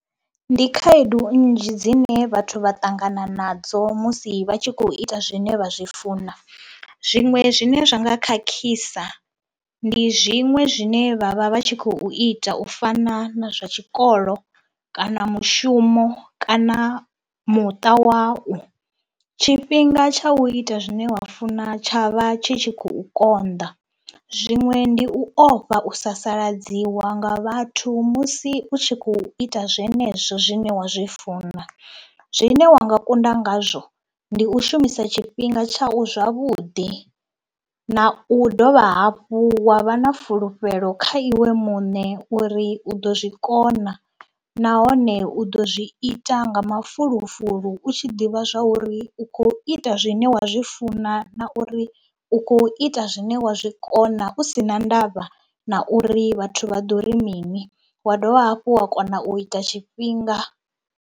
Ndi khaedu nnzhi dzine vhathu vha ṱangana nadzo musi vha tshi khou ita zwine vha zwi funa, zwiṅwe zwine zwa nga khakhisa ndi zwiṅwe zwine vha vha vha tshi khou ita u fana na zwa tshikolo kana mushumo kana muṱa wau. Tshifhinga tsha u ita zwine wa funa tshavha tshi tshi khou konḓa, zwiṅwe ndi u ofha u sasaladziwa nga vhathu musi u tshi khou ita zwenezwo zwine wa zwi funa, zwine wa nga kunda ngazwo ndi u shumisa tshifhinga tsha u zwavhuḓi na u dovha hafhu wa vha na fulufhelo kha iwe muṋe uri u ḓo zwi kona nahone u ḓo zwi ita nga mafulufulu u tshi ḓivha zwa uri u khou ita zwine wa zwi funa, na uri u khou ita zwine wa zwi kona u si na ndavha na uri vhathu vha ḓo ri mini, wa dovha hafhu wa kona u ita tshifhinga.